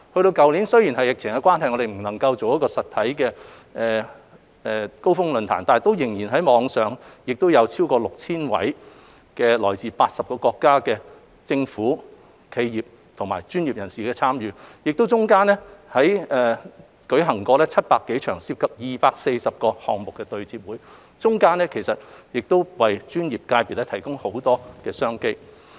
去年因為疫情關係，我們不能舉辦實體的"高峰論壇"，但仍以網上形式舉辦，有超過 6,000 位來自80個國家的企業和專業人士參與，其間亦舉行了700多場、涉及超過240個項目的對接會，為專業界別提供很多商機。